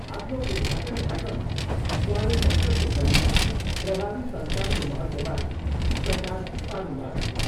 आफ्नो उद्घाटन भाषणमा उहाँले सङ्कटको घडीमा प्रभावी सञ्चारको महत्त्वबारे प्रकाश पार्नुभयो।